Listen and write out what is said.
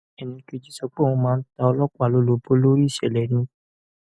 ẹnì kejì sọ pé òun máa ń ta ọlọpàá lólobó lórí ìṣẹlẹ ni